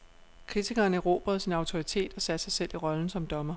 Kritikeren erobrede sin autoritet og satte sig i selv rollen som dommer.